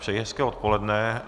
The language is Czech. Přeji hezké odpoledne.